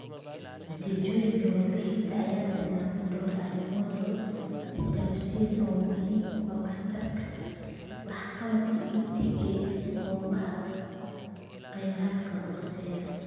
Natiijooyinka warbixintan ayaa tilmaamaya dhowr arrimood oo isdhaafsi ah oo muhiim u ah waxtarka waxqabadyada EdTech ee goobaha kheyraadka hooseeya .